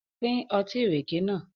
Pín Ọtí ìrèké nàá.